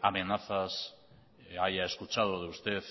amenazas haya escuchado de usted